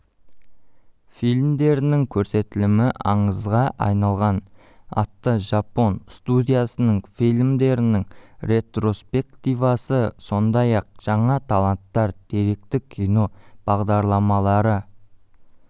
фильмдерінің көрсетілімі аңызға айналған атты жапон студиясының фильмдірінің ретроспективасы сондай-ақ жаңа таланттар деректі кино бағдарламалары